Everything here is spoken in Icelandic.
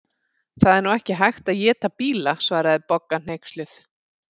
Það er nú ekki hægt að éta bíla svaraði Bogga hneyksluð.